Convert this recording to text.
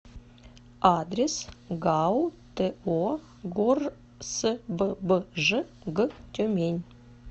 адрес гау то горсббж г тюмень